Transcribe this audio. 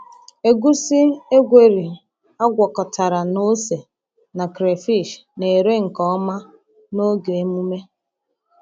Egusi egweri agwakọtara na ose na crayfish na-ere nke ọma n’oge emume.